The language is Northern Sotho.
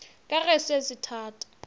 ka ge se se thata